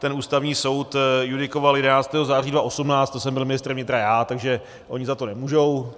Ten Ústavní soud judikoval 11. září 2018, to jsem byl ministrem vnitra já, takže oni za to nemůžou.